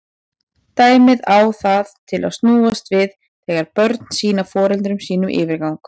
Dæmið á það til að snúast við þegar börn sýna foreldrum sínum yfirgang.